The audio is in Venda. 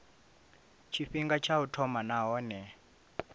tshifhinga tsha u thoma nahone